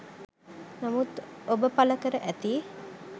නමුත් ඔබ පල කර ඇති